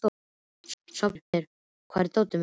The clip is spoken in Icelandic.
Sváfnir, hvar er dótið mitt?